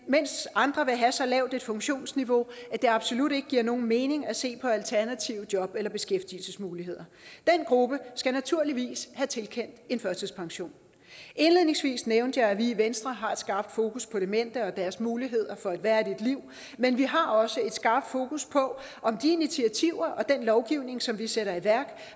mens andre vil have så lavt et funktionsniveau at det absolut ikke giver nogen mening at se på alternative job eller beskæftigelsesmuligheder den gruppe skal naturligvis have tilkendt en førtidspension indledningsvis nævnte jeg at vi i venstre har et skarpt fokus på demente og deres muligheder for et værdigt liv men vi har også et skarpt fokus på om de initiativer og den lovgivning som vi sætter i værk